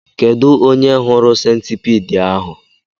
Kedụ onye hụrụ sentipiid ahụ?